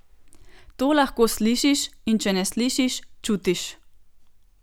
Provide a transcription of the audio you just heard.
To lahko slišiš in če ne slišiš, čutiš.